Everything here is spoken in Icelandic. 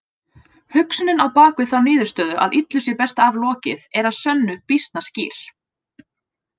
Hugsunin á bakvið þá niðurstöðu að illu sé best aflokið er að sönnu býsna skýr.